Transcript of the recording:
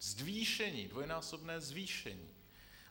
Zvýšení, dvojnásobné zvýšení.